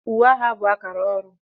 Uwe agha bụ akara ọrụ